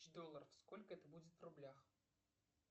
долларов сколько это будет в рублях